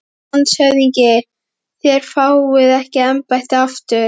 LANDSHÖFÐINGI: Þér fáið ekki embættið aftur